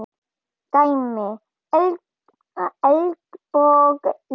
Dæmi: Eldborg í